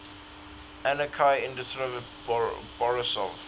anikei ignatievich borisov